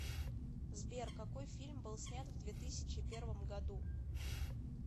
сбер какой фильм был снят в две тысячи первом году